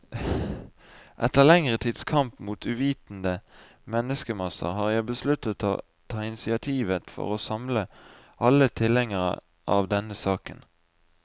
Etter lengre tids kamp mot uvitende menneskemasser, har jeg besluttet å ta initiativet for å samle alle tilhengere av denne saken.